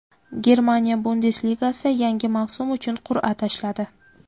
Germaniya Bundesligasi yangi mavsum uchun qur’a tashladi.